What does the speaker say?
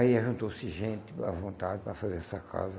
Aí juntou-se gente à vontade para fazer essa casa.